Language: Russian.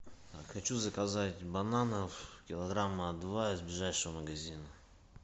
хочу заказать бананов килограмма два из ближайшего магазина